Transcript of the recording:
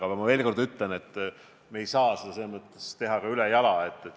Aga ma veel kord ütlen, et me ei saa seda teha ülejala.